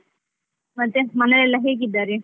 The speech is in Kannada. ಮತ್ತೆ ಮನೆಯಲ್ಲೆಲ್ಲಾ ಹೇಗಿದ್ದಾರೆ?